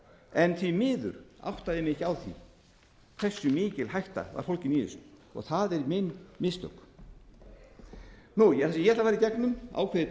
en því miður áttaði ég mig ekki á því hversu mikil hætta var fólgin í þessu og það eru mín mistök ég ætla að fara í gegnum ákveðið